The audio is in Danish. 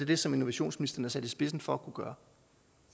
det som innovationsministeren er sat i spidsen for